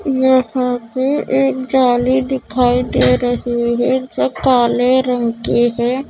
यहाँ पे एक जाली दिखाई दे रही है जो काले रंग की है।